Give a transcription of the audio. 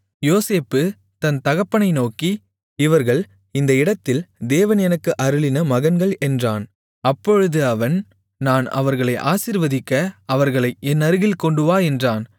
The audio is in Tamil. யோசேப்பு தன் தகப்பனை நோக்கி இவர்கள் இந்த இடத்தில் தேவன் எனக்கு அருளின மகன்கள் என்றான் அப்பொழுது அவன் நான் அவர்களை ஆசீர்வதிக்க அவர்களை என் அருகில் கொண்டுவா என்றான்